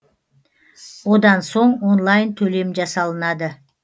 одан соң онлайн төлем жасалынады